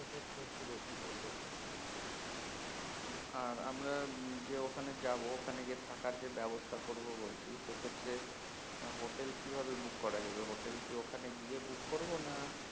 আর আমরা যে ওখানে যাবো ওখানে গিয়ে থাকার যে ব্যাবস্তা করবো বলছি সেক্ষেত্রে হোটেল কীভাবে book করা যাবে হোটেল কি ওখানে গিয়ে বুক করবো না